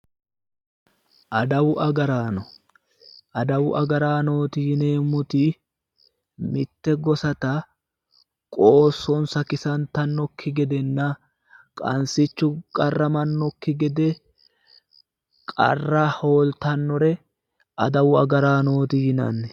Adawu agaraano. adawu agaraanooti yineemmoti mitte gosata qoossonsa kisantannokki gedenna qansichu qarramannokki gede qarra hootannore adawu agaraanooti yinani.